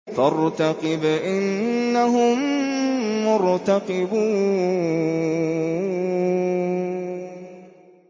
فَارْتَقِبْ إِنَّهُم مُّرْتَقِبُونَ